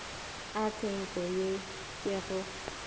a tshenko ye ke go